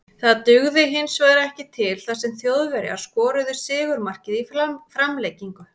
Það dugði hinsvegar ekki til þar sem Þjóðverjar skoruðu sigurmarkið í framlengingu.